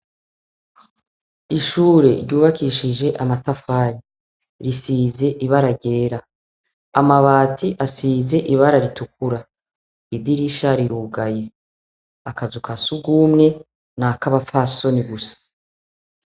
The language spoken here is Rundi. Ishure ryubakishije amatafari risize ibara ryera amabati asize ibara ritukura idirisha rirugaye akazu ka sugumwe ni ak'abafasoni gusa.